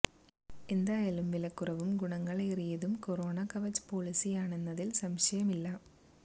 എന്തായാലും വില കുറവും ഗുണങ്ങൾ ഏറിയതും കൊറോണ കവച് പോളിസിയാണെന്നതിൽ സംശയമില്ല